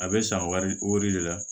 A bɛ san wari wɔri de la